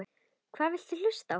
Hvað viltu hlusta á?